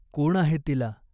कोण आहे तिला ?